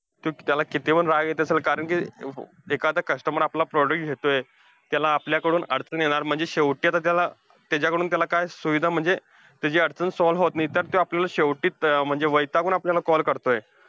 तू त्याला कितीपण राग येत असेल, कारण कि एखादं customer आपलं product घेतोय. त्याला आपल्याकडून अडचण येणार, म्हणजे शेवटी आता त्याला त्याच्याकडून त्याला काय सुविधा म्हणजे, त्याची अडचण solve होत नाही. तर त्यो आपल्याला शेवटी अं म्हणजे वैतागून आपल्याला call करतोय.